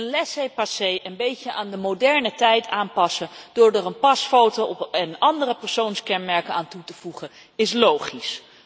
Een laissez passer een beetje aan de moderne tijd aanpassen door daar een pasfoto en andere persoonskenmerken aan toe te voegen, is logisch.